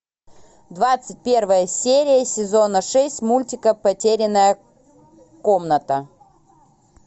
двадцать первая серия сезона шесть мультика потерянная комната